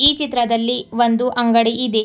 ಈ ಚಿತ್ರದಲ್ಲಿ ಒಂದು ಅಂಗಡಿ ಇದೆ.